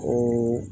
O